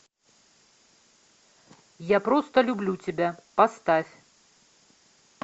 я просто люблю тебя поставь